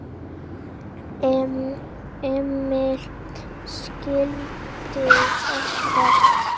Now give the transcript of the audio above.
Emil skildi ekkert.